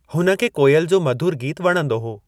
हुन खे कोइल जो मधुर गीतु वणंदो हो।